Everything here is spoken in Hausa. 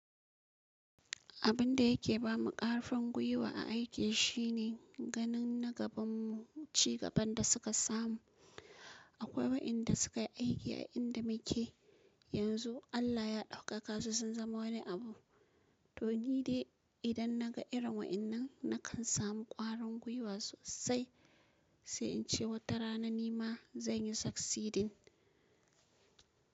Abin da yake ba mu ƙarfin gwiwa a aiki shine ganin na gaban mu, cigaban da suka samu. Akwai wa'inda suka yi aiki a inda muke yanzu, Allah ya ɗauka kasu sun zama wani abu. To ni dai idan naga irin waɗannan, nakan samu ƙwarin gwiwa sosai, sai in ce wata rana ni ma zan yi succeeding.